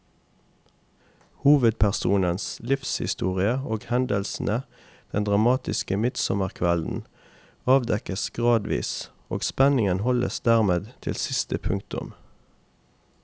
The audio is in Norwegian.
Hovedpersonens livshistorie og hendelsene den dramatiske midtsommerkvelden avdekkes gradvis, og spenningen holdes dermed til siste punktum.